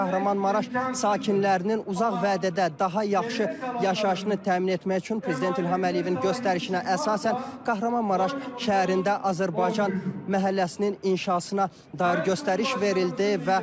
Kahramanmaraş sakinlərinin uzaq vədə də daha yaxşı yaşayışını təmin etmək üçün prezident İlham Əliyevin göstərişinə əsasən, Kahramanmaraş şəhərində Azərbaycan məhəlləsinin inşasına dair göstəriş verildi.